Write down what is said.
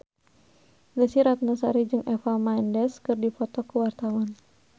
Desy Ratnasari jeung Eva Mendes keur dipoto ku wartawan